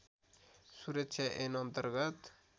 सुरक्षा ऐन अन्तर्गत